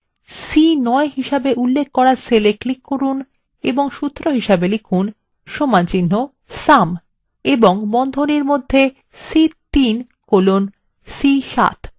c9 হিসেবে উল্লেখ করা cell এ click করুন এবং সূত্র লিখুন is equal to sum এবং র্বন্ধনীর মধ্যে c3 colon c7